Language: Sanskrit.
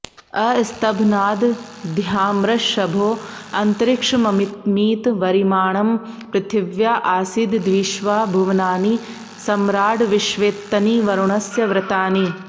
अस्त॑भ्ना॒द्॒ द्यामृ॑ष॒भो अ॒न्तरि॑क्ष॒ममि॑मीत वरि॒माणं॑ पृथि॒व्या आसी॑द॒द्विश्वा॒ भुव॑नानि स॒म्राड्विश्वेत्तनि॒ वरु॑णस्य व्र॒तानि॑